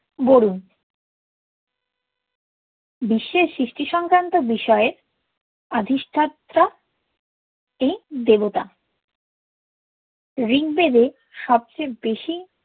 বরুন বিশ্বের সৃষ্টি সংক্রান্ত বিষয় আধিস্তাতা এই দেবতা ঋগবেদে সবচে